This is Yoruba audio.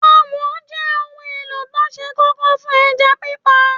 Àwọ̀n jẹ́ ohun èlò tó sé kókó fún ẹja pípa